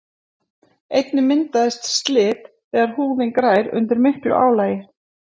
einnig myndast slit þegar húðin grær undir miklu álagi